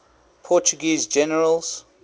portuguese generals